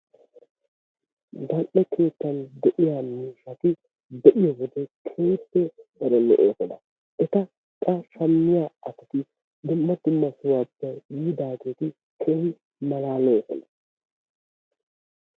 Zal"ee keettaan de'iya miishshaati be'yo wode keehippe tana lo'oosona. Etta shamiya asati dumma dumma sohuwappe yiidageti keehi malalosona.